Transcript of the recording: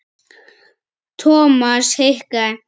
Thomas hikaði.